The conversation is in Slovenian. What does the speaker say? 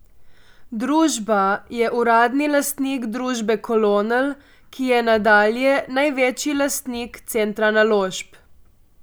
Družba je uradni lastnik družbe Kolonel, ki je nadalje največji lastnik Centra Naložb.